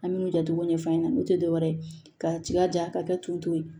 An bɛ min jatogo ɲɛf'a ɲɛna n'u tɛ dɔwɛrɛ ye ka jilaja ka kɛ t'u to yen